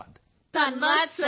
ਸਮੂਹ ਸਵਰ ਧੰਨਵਾਦ ਸਰ